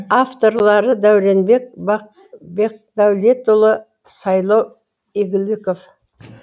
авторлары дәуренбек бақбекдәулетұлы сайлау игіліков